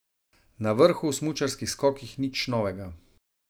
Na vrhu v smučarskih skokih nič novega.